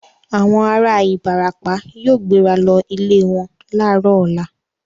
Àwọn ará Ìbàràpá yóò gbéra lọ ilẹ̀ wọn láàárọ̀ ọ̀la.